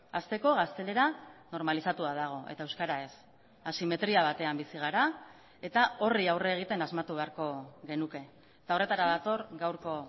hasteko gaztelera normalizatua dago eta euskara ez asimetria batean bizi gara eta horri aurre egiten asmatu beharko genuke eta horretara dator gaurko